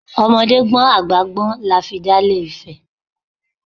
Ọmọdé gbọ́n, àgbà gbọ́n lafi dà ilé Ifẹ̀.